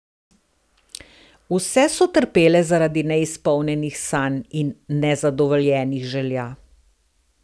Vse so trpele zaradi neizpolnjenih sanj in nezadovoljenih želja.